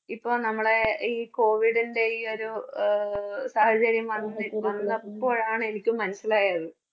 ഇപ്പം നമ്മളെ ഈ covid ന്റെ ഈ ഒരു ആഹ് സാഹചര്യമാണ് അപ്പോഴാണ് എനിക്ക് മനസ്സിലായത്.